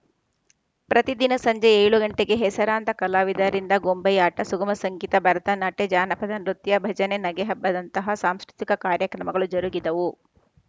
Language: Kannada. ಪ್ರತಿದಿನ ಸಂಜೆ ಏಳು ಗಂಟೆಗೆ ಹೆಸರಾಂತ ಕಲಾವಿದರಿಂದ ಗೊಂಬೆಯಾಟ ಸುಗಮ ಸಂಗೀತ ಭರತನಾಟ್ಯ ಜಾನಪದ ನೃತ್ಯ ಭಜನೆ ನಗೆಹಬ್ಬದಂತಹ ಸಾಂಸ್ಕೃತಿಕ ಕಾರ್ಯಕ್ರಮಗಳು ಜರುಗಿದವು